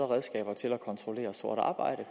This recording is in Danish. redskaber til at kontrollere sort arbejde